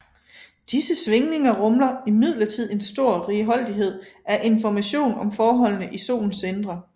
Disse svingninger rummer imidlertid en stor righoldighed af information om forholdene i Solens indre